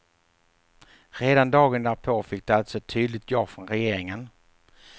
Redan dagen därpå fick de alltså ett tydligt ja från regeringen.